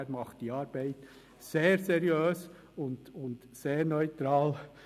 Er macht seine Arbeit sehr seriös und sehr neutral.